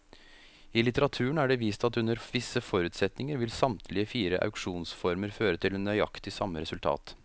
I litteraturen er det vist at under visse forutsetninger vil samtlige fire auksjonsformer føre til nøyaktig samme resultat.